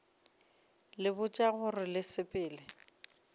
le botša gore le sepela